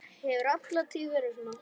Hefur alla tíð verið svona.